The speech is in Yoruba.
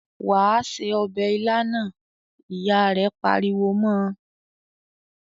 "Wà á se ọbẹ̀ ilá náà!" Ìyá rẹ̀ pariwo mọ́ ọ.